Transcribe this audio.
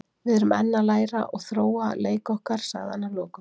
Við erum enn að læra og þróa leik okkar, sagði hann að lokum.